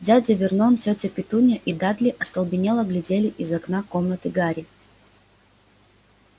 дядя вернон тётя петунья и дадли остолбенело глядели из окна комнаты гарри